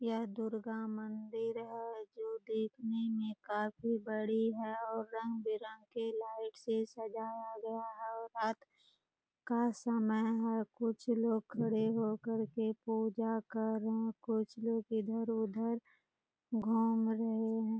यह दुर्गा मंदिर है जो देखने में काफ़ी बड़ी है और रंग-बिरंग के लाइट से सजाया गया है और रात का समय है कुछ लोग खड़े होकर के पूजा कर रहे हैं कुछ लोग इधर उधर घूम रहे हैं।